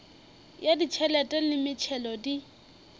ya ditšhelete le metšhelo di